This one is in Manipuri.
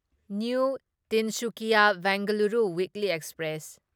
new Tinsukia Bengaluru weekly express